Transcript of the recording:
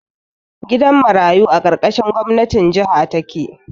Gidan marayu a ƙarƙashin gwamnatin jaha take